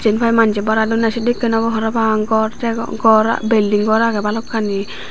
jenpai manje bara donde sedekken obow parapang gor degong gor bilding gor agey balokkani.